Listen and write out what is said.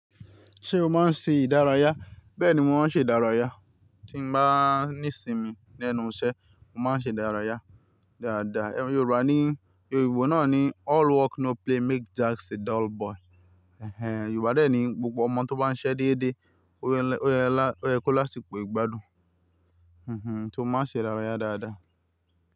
Ṣé o máa ń ṣe ìdárayá? Bẹ́ẹ̀ni mo máa ń ṣe ìdárayá. Tí mo bá ní ìsinmi lẹ́nu iṣẹ́, mo máa ń ṣe ìdárayá dáadáa. Yorùbá ní, Yorùbá náà ní "All work no play makes Jack a dull boy". Ẹ̀hẹn. Yorùbá dé ní gbogbo ọmọ tó bá ń ṣiṣẹ́ déédé, ó yẹ lá ó yé kó lásìkò gbádùn. Tó mo máa ṣe ìdárayá dáadáa.